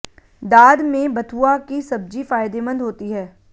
दाद में बथुआ की सब्जी फायदेमंद होती है